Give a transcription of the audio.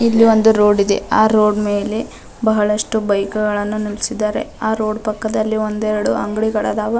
ಇಲ್ಲಿ ಒಂದು ರೋಡ್ ಇದೆ ಆ ರೋಡ್ ನ್ ಮೇಲೆ ಬಹಳಷ್ಟು ಬೈಕ್ ಗಳನ್ನು ನಿಲ್ಲಿಸಿದ್ದಾರೆ ಆ ರೋಡ್ ಪಕ್ಕದಲ್ಲಿ ಒಂದೆರಡು ಅಂಗಡಿಗಳು ಅದಾವ .